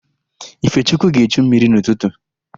Ifechukwu ga-echu mmiri n'ụtụtụ.